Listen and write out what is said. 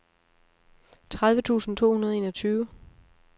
tredive tusind to hundrede og enogtyve